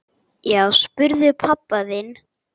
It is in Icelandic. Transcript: Já, spyrðu pabba þinn!